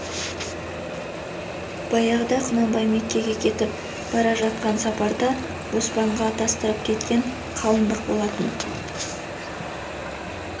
баяғыда құнанбай мекеге кетіп бара жатқан сапарда оспанға атастырып кеткен қалыңдық болатын